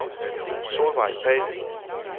Solvejg Pagh